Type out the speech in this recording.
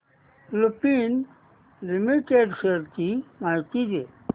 Lupin limited shares ची माहिती दे